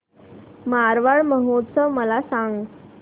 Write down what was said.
मारवाड महोत्सव मला सांग